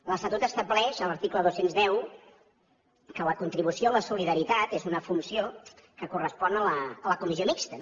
l’estatut estableix a l’article dos cents i deu que la contribució a la solidaritat és una funció que correspon a la comissió mixta